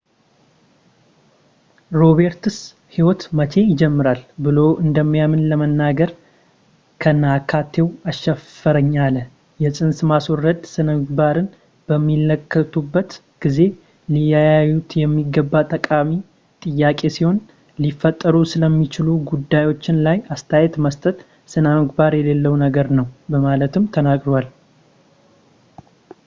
roberts ሕይወት መቼ ይጀምራል ብሎ እንደሚያምን ለመናገር ከነአካቴው አሻፈረኝ አለ የፅንስ ማስወረድ ስነምግባርን በሚመለከቱበት ጊዜ ሊያዩት የሚገባ ጠቃሚ ጥያቄ ሲሆን ሊፈጠሩ ስለሚችሉ ጉዳዮች ላይ አስተያየት መስጠት ስነምግባር የሌለው ነገር ነው በማለትም ተናግሯል